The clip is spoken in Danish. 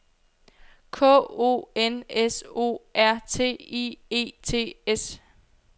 K O N S O R T I E T S